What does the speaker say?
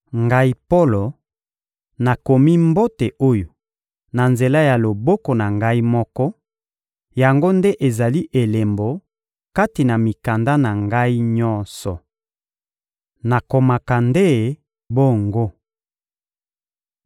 Ngai Polo, nakomi mbote oyo na nzela ya loboko na ngai moko; yango nde ezali elembo kati na mikanda na ngai nyonso. Nakomaka nde bongo.